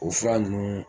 O fura ninnu